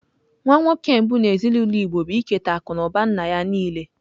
Nwa nwoke mbụ n'ezinaụlọ Igbo bụ iketa akụ na ụba nna ya niile.